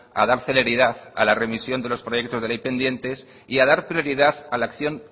a dar celeridad a la remisión de los proyectos de ley pendientes y a dar prioridad a la acción